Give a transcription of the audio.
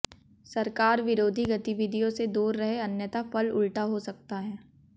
सरकार विरोधी गतिविधियों से दूर रहे अन्यथा फल उल्टा हो सकता है